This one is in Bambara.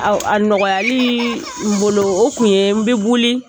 A nɔgɔyaliii n bolo o kun ye n bɛ boli